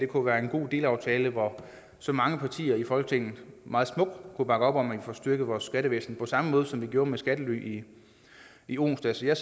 kunne være en god delaftale hvor så mange partier i folketinget meget smukt kunne bakke op om at få styrket vores skattevæsen på samme måde som vi gjorde med skattely i onsdags jeg